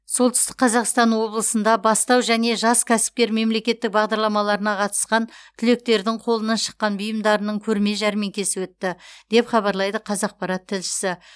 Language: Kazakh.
солтүстік қазақстан облысында бастау және жас кәсіпкер мемлекеттік бағдарламаларына қатысқан түлектердің қолынан шыққан бұйымдарының көрме жәрмеңкесі өтті деп хабарлайды қазақпарат тілшісі